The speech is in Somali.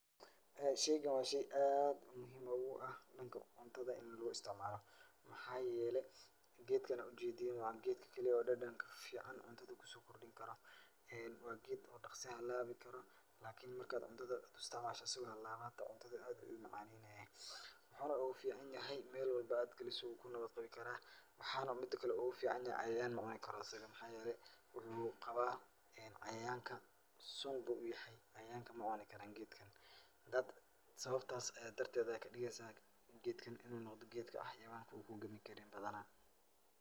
Shaygan waa shay aad muhiim ugu ah dhanka cuntada in loo istacmaalo. Maxaa yeelay, gedkan aad u jeedin waa geedka keli ah oo dhadhanka ficaan cuntada ku soo kordhinkaro. Waa geed oo dhakhsi halaabikaro lakini marka aad cuntada ku istacmaasho asigo halawa hata cuntada aad uu u macaaneynayaa. Waxuuna ugu ficaan yahay meel walbo aad galiso waa ku nabad qabi karaa. Waxaana mida kale ugu ficaan yahay cayayaan ma cuni karo asiga. Maxaa yeelay wuxuu qabaa cayayaanka sun buu u yahay,,cayayaanka ma cuni karaan geedkan. Sabab taas ay darteed ayaa ka dhigaysaa geedkan in uu noqdo geedka xayawaanka uu ku gami karin badanaa.